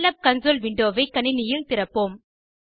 Scilab console window ஐ கணினியில் திறப்போம்